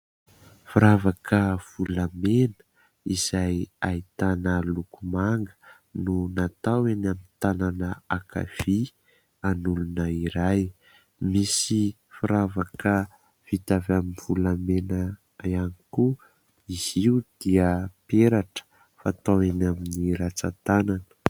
Firavaka volamena izay ahitana loko manga no natao eny amin'ny tanana ankavia an'olona iray, misy firavaka vita avy amin'ny volamena ihany koa, izy io dia peratra fatao eny amin'ny ratsan-tanana.